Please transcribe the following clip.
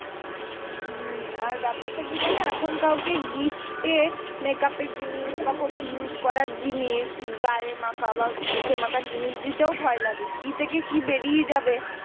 হম আর ব্যাপারটা কি জানো এখন কাউকে gift টে makeup এর জিনিস বা কোনো use করার জিনিস গায়ে মাখা বা মুখে মাখার জিনিস দিতেও ভয় লাগে কি থেকে কি বেরিয়ে যাবে।